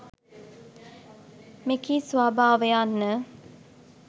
මෙකී ස්වභාව යන්න